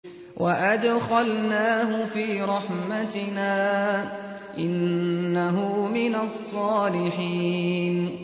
وَأَدْخَلْنَاهُ فِي رَحْمَتِنَا ۖ إِنَّهُ مِنَ الصَّالِحِينَ